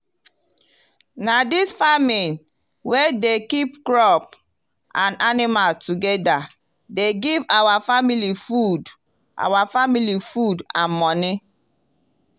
na dis farming wey dey keep crop and animal together dey give our family food our family food and money.